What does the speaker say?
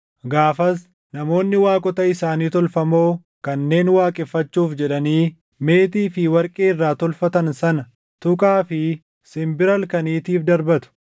Gaafas namoonni waaqota isaanii tolfamoo kanneen waaqeffachuuf jedhanii meetii fi warqee irraa tolfatan sana tuqaa fi simbira halkaniitiif darbatu.